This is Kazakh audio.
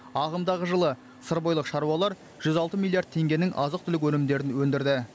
ағымдағы жылы сырбойылық шаруалар жүз алты миллиард теңгенің азық түлік өнімдерін өндірді